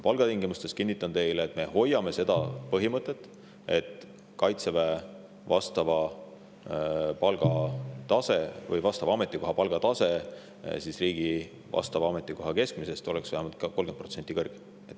Palgatingimuste puhul, kinnitan teile, me hoiame põhimõtet, et Kaitseväe teatud ametikoha palgatase oleks riigi vastava ametikoha keskmisest vähemalt 30% kõrgem.